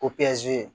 O